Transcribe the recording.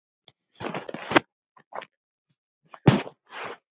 Fallin spýta!